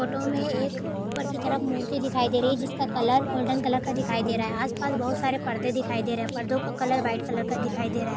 Photo में एक ऊपर की तरफ मूर्ति दिखाई दे रही है जिसका कलर गोल्डन कलर का दिखाई दे रहा है आसपास बहुत सारे परदे दिखाई दे रहे है परदों का कलर वाईट कलर का दिखाई दे रहा है।